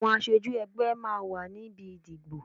Àwọn aṣojú ẹgbẹ́ máa wà níbi ìdìbò.